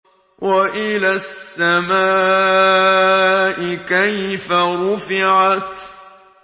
وَإِلَى السَّمَاءِ كَيْفَ رُفِعَتْ